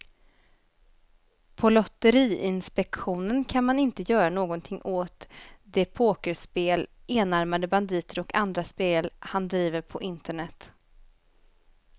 På lotteriinspektionen kan man inte göra någonting åt de pokerspel, enarmade banditer och andra spel han driver på internet.